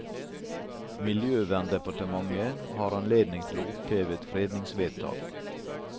Miljøverndepartementet har anledning til å oppheve et fredningsvedtak.